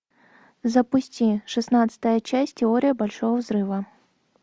запусти шестнадцатая часть теория большого взрыва